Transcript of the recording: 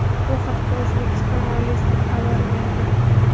Bu haqda O‘zbekiston Oliy sudi xabar berdi .